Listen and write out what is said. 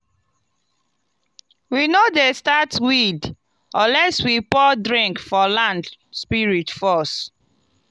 we no dey start weed unless we pour drink for land spirit first.